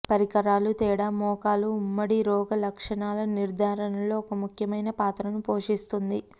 పరికరాలు తేడా మోకాలు ఉమ్మడి రోగ లక్షణాల నిర్ధారణలో ఒక ముఖ్యమైన పాత్రను పోషిస్తుంది